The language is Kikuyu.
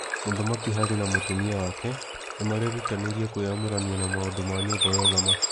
Mũthamaki Harry na mũtumia wake nĩ marerutanĩria kwĩyamũrania na maũndũ ma nyũmba ya ũthamaki.